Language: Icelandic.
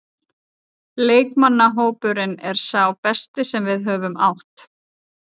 Leikmannahópurinn er sá besti sem við höfum átt.